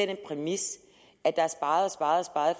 den præmis at der er sparet sparet